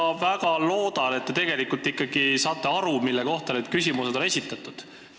Ma väga loodan, et te tegelikult ikkagi saate aru, mille kohta on need küsimused esitatud.